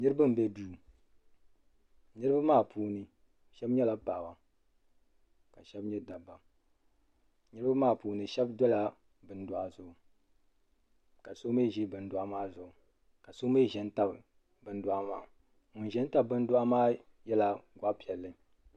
niraba n bɛ duu niraba maa puuni shab nyɛla paɣaba ka shab nyɛ dabba niraba maa puuni shab dola bin dohi zuɣu ka so mii ʒi bindohi maa zuɣu ka so mii ʒɛ n tabi bin dohi maa ŋun ʒɛ n tabi bin dohi maa nyɛla Gbanpiɛli